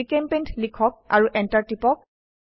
জিচেম্পেইণ্ট লিখক আৰু এন্টাৰ টিপক